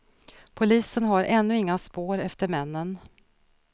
Polisen har ännu inga spår efter männen.